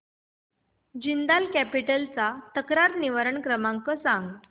Jindal capital चा तक्रार निवारण क्रमांक सांग